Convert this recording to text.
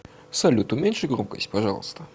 салют уменьши громкость пожалуйста